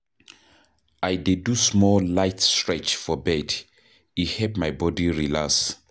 I dey do some light stretch for bed, e help my body relax.